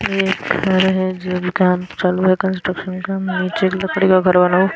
ये घर है जो की अभी काम चालू है कंस्ट्रक्शन का नीचे लकड़ी का घर बना हु--